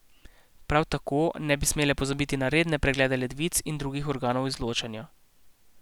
Prav tako ne bi smele pozabiti na redne preglede ledvic in drugih organov izločanja.